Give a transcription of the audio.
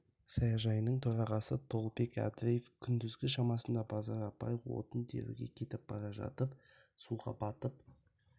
саяжайының төрағасы толыбек әбдіреев күндізгі шамасында базар апай отын теруге кетіп бара жатып суға батып